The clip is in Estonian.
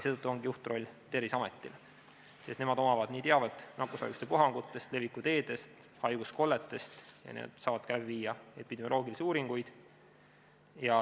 Seetõttu ongi juhtroll Terviseametil, sest nendel on teave nakkushaiguste puhangute, leviku teede ja haiguskollete kohta ning nad saavad teha ka epidemioloogilisi uuringuid.